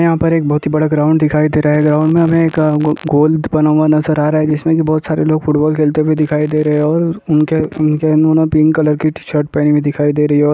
यहाँ पर एक बहोत ही बड़ा ग्राउंड दिखाई दे रहा हैं ग्राउंड में हमें एक गो गोल बना हुआ नजर आ रहा हैं जिसमें की बहोत सारे लोग फुटबॉल खेलते हुए दिखाई दे रहे हैं और उनके पिंक कलर की टी-शर्ट पहने हुए दिखाई दे रही हैं और --